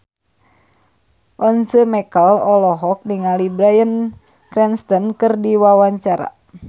Once Mekel olohok ningali Bryan Cranston keur diwawancara